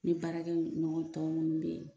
Ne baarakɛ ɲɔgɔn tɔ munnu bɛ yen.